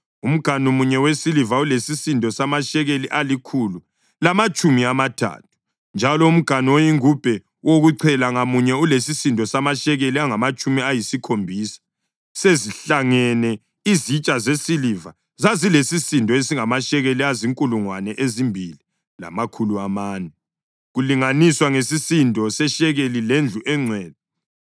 Umganu munye wesiliva ulesisindo samashekeli alikhulu lamatshumi amathathu, njalo umganu oyingubhe wokuchela ngamunye ulesisindo samashekeli angamatshumi ayisikhombisa. Sezihlangene, izitsha zesiliva zazilesisindo esingamashekeli azinkulungwane ezimbili lamakhulu amane, kulinganiswa ngesisindo seshekeli lendlu engcwele.